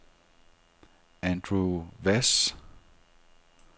Andrew Hvass